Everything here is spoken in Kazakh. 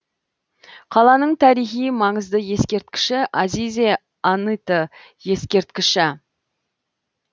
қаланың тарихи маңызды ескерткіші азизе аныты ескерткіші